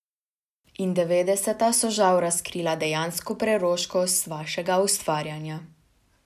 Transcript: In devetdeseta so žal razkrila dejansko preroškost vašega ustvarjanja ...